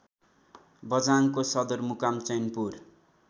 बझाङको सदरमुकाम चैनपुर